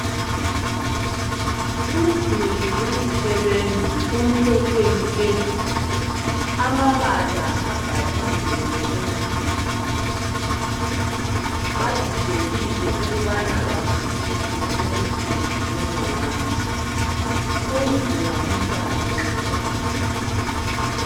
Umduli wezisebenzi umhlophe nke. Amabala abhaliwe ngesingisi. Badidekile ukubana bazwisise ukuthi kukhulunywa ngani. Unzima umhlaba nxa ungafundanga.